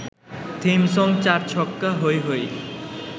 theme song চার-ছক্কা হই হই